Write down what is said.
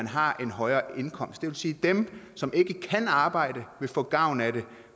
har en højere indkomst det vil sige at dem som ikke kan arbejde vil få gavn af det